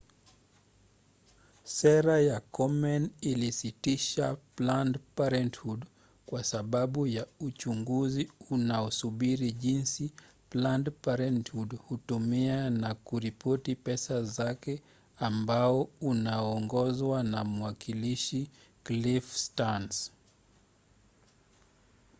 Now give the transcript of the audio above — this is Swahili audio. sera ya komen ilisitisha planned parenthood kwa sababu ya uchunguzi unaosubiri jinsi planned parenthood hutumia na kuripoti pesa zake ambao unaongozwa na mwakilishi cliff stearns